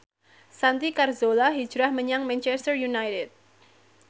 Santi Carzola hijrah menyang Manchester united